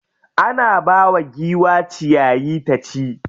Ana bawa giwa ciyayi ta ci.